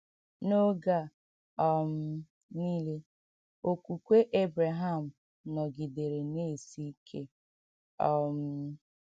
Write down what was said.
N’oge a um nile, okwukwe Ebreham nọgidere na - esi ike um.